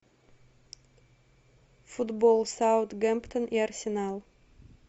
футбол саутгемптон и арсенал